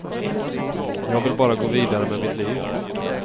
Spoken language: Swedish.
Jag vill bara gå vidare med mitt liv.